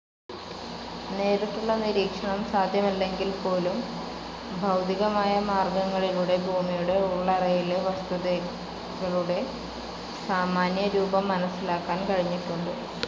നേരിട്ടുള്ള നിരീക്ഷണം സാധ്യമല്ലെങ്കിൽപോലും, ഭൌതികമായ മാർഗങ്ങളിലൂടെ ഭൂമിയുടെ ഉള്ളറയിലെ വസ്തുസ്ഥിതികളുടെ സാമാന്യരൂപം മനസ്സിലാക്കാൻ കഴിഞ്ഞിട്ടുണ്ട്.